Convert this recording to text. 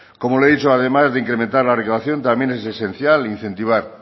como le he dicho además de incrementar la recaudación también es esencial incentivar